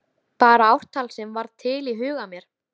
Bara ártal sem varð til í huga mér.